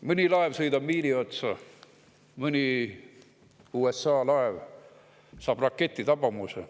Mõni laev sõidab miini otsa, mõni USA laev saab raketitabamuse.